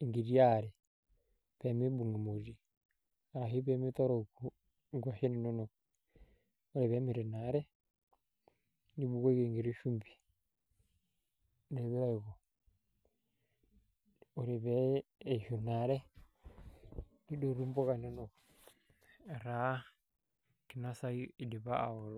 enkiti are pee miibung' emoti arashu pee mitorok nkuashen inonok ore peeemit inaare nibukoki enkiti shumbi, ore pee eishu ina are nidotu impuka inonok etaa kinasayu idipa aaoto.